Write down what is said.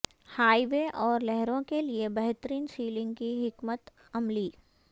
high وے اور لہروں کے لئے بہترین سیلنگ کی حکمت عملی